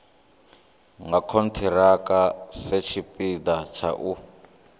nga khonthiraka satshipida tsha u